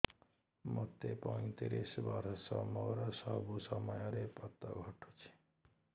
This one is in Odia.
ମୋତେ ପଇଂତିରିଶ ବର୍ଷ ମୋର ସବୁ ସମୟରେ ପତ ଘଟୁଛି